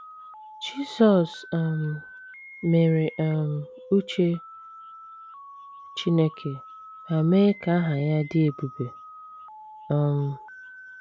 Jisọs um mere um uche Chineke ma mee ka aha Ya dị ebube. um